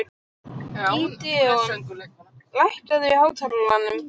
Gídeon, lækkaðu í hátalaranum.